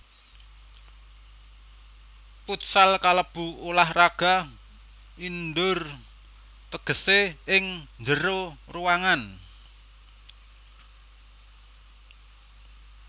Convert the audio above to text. Futsal kalebu ulah raga indoor tegesé ing njero ruangan